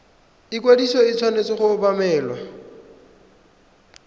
ikwadiso e tshwanetse go obamelwa